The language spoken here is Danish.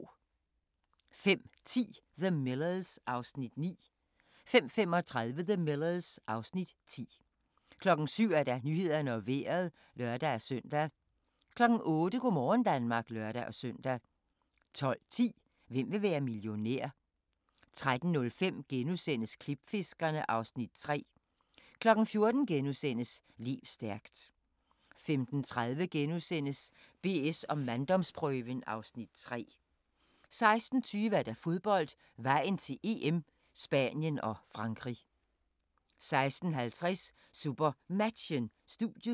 05:10: The Millers (Afs. 9) 05:35: The Millers (Afs. 10) 07:00: Nyhederne og Vejret (lør-søn) 08:00: Go' morgen Danmark (lør-søn) 12:10: Hvem vil være millionær? * 13:05: Klipfiskerne (Afs. 3)* 14:00: Lev stærkt * 15:30: BS & manddomsprøven (Afs. 3)* 16:20: Fodbold: Vejen til EM - Spanien og Frankrig 16:50: SuperMatchen: Studiet